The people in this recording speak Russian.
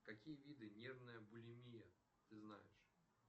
какие виды нервная булимия ты знаешь